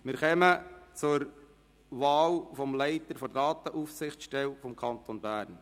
Wir kommen zum Wahlergebnis des Leiters Datenaufsichtsstelle des Kantons Bern.